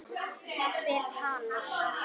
Hver talar?